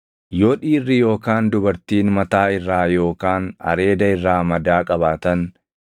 “Yoo dhiirri yookaan dubartiin mataa irraa yookaan areeda irraa madaa qabaatan,